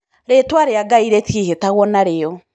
Rĩtwa rĩa Ngai rĩtiĩhĩtagwo narĩo